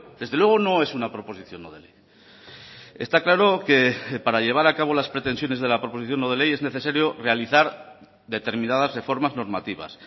desde luego no es una proposición no de ley está claro que para llevar a cabo las pretensiones de la proposición no de ley es necesario realizar determinadas reformas normativas